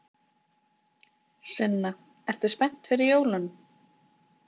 Sunna: Ert þú spennt fyrir jólunum?